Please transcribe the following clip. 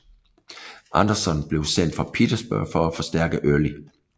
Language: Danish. Anderson blev sendt fra Petersburg for at forstærke Early